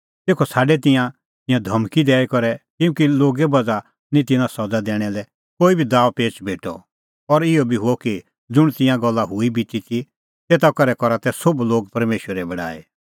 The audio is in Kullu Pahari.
तेखअ छ़ाडै तिन्नैं तिंयां धमकी दैई करै किल्हैकि लोगे बज़्हा निं तिन्नां सज़ा दैणा लै कोई दाअपेच़ भेटअ और इहअ बी हुअ कि ज़ुंण तिंयां गल्ला हुई बिती ती तेता करै करा तै सोभ लोग परमेशरे बड़ाई